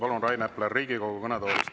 Palun, Rain Epler, Riigikogu kõnetoolist!